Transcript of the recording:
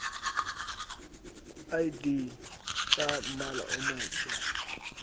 id tsa mmala o motsho